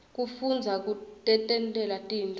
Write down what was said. kufundza kutentela tintfo